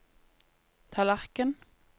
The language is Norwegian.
tallerken